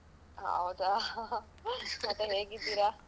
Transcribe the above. ಹೌದಾ ಮತ್ತೆ ಹೇಗಿದ್ದೀರಾ.